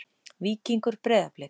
Víkingur- Breiðablik